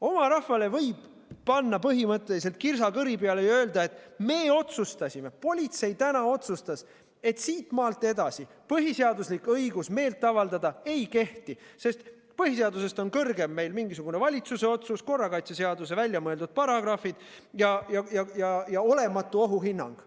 Oma rahvale võib panna põhimõtteliselt kirsa kõri peale ja öelda, et me otsustasime, et politsei täna otsustas, et siitmaalt edasi põhiseaduslik õigus meelt avaldada ei kehti, sest põhiseadusest on meil kõrgem mingisugune valitsuse otsus, korrakaitseseaduse väljamõeldud paragrahvid ja olematu ohuhinnang.